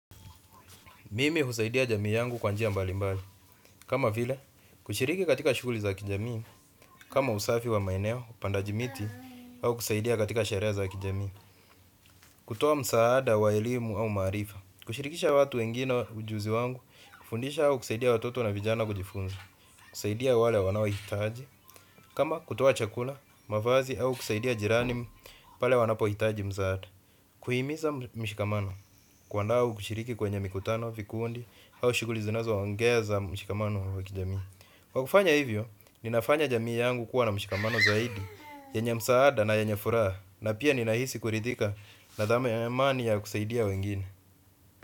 Mimi husaidia jamii yangu kwa njia mbali mbali. Kama vile, kushiriki katika shuguli za kijamii, kama usafi wa maineo, upandaji miti, au kusaidia katika sherehe za kijamii. Kutoa msaada, wa elimu au maarifa. Kushirikisha watu wengine ujuzi wangu, kufundisha au kusaidia watoto na vijana kujifunza. Kusaidia wale wanao hitaji, kama kutoa chakula, mavazi au kusaidia jirani pale wanapo hitaji msaada, kuhimiza mshikamano kuandaa kushiriki kwenye mikutano, vikundi, hau shughuli zinazoongeza mshikamano wa kijamii. Kwa kufanya hivyo, ninafanya jamii yangu kuwa na mshikamano zaidi yenye msaada na yenye furaha na pia ninahisi kuridhika na dhamani ya kusaidia wengine.